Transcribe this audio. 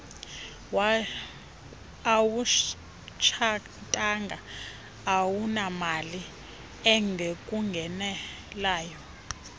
awutshatanga awunamali ekungenelayo